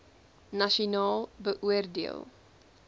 nasionaal beoor deel